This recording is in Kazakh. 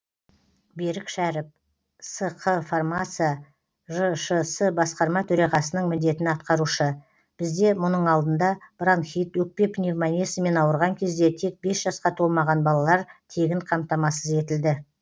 берік шәріп сқ фармация жшс басқарма төрағасының міндетін атқарушы бізде мұның алдында бронхит өкпе пневмониясымен ауырған кезде тек бес жасқа толмаған балалар тегін қамтамасыз етілді